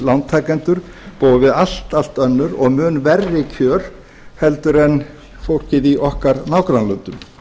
lántakendur búa við allt allt önnur og mun verri kjör en fólkið í okkar nágrannalöndum